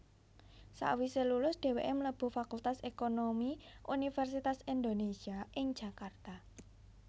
Sawise lulus dheweke mlebu Fakultas Ekonomi Universitas Indonésia ing Jakarta